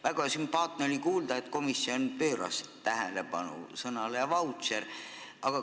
Väga sümpaatne oli kuulda, et komisjon pööras tähelepanu sõnale "vautšer".